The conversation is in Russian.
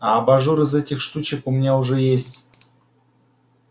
а абажур из этих штучек у меня уже есть